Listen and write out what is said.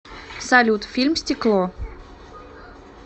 салют фильм стекло